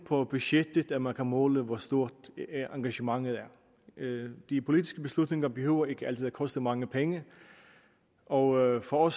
på budgettet man kan måle hvor stort engagementet er de politiske beslutninger behøver ikke altid at koste mange penge og for